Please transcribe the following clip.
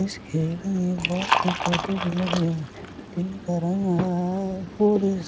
इस खेल में बहुत से पौधे भी लगे हुए है इनका रंग आ